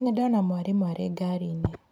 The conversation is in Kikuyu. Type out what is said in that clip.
Nĩndona mwarimũ arĩ ngari-inĩ.